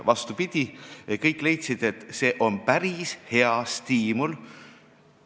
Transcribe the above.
Vastupidi, kõik leidsid, et see on päris hea stiimul.